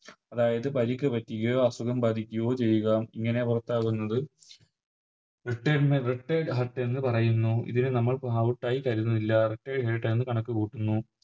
അതായത് പരിക്ക് പറ്റുകയോ അസുഖം ബാധിക്കുകയോ ചെയ്യുക ഇങ്ങനെ പുറത്താകുന്നത് Retired retired hurt എന്ന് പറയുന്നു ഇതിനെ നമുക്ക് Out ആയി കരുതുന്നില്ല Retired hurt എന്ന് കണക്ക് കൂട്ടുന്നു